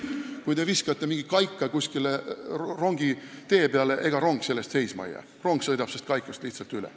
Kui te viskate mingi kaika rongitee peale, siis ega rong sellest seisma ei jää: rong sõidab sest kaikast lihtsalt üle.